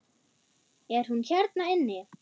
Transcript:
Er hún hérna inni?